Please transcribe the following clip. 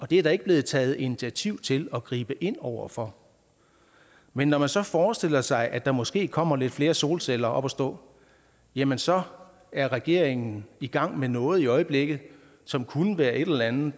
det er der ikke blevet taget initiativ til at gribe ind over for men når man så forestiller sig at der måske kommer lidt flere solceller op at stå jamen så er regeringen i gang med noget i øjeblikket som kunne være en eller anden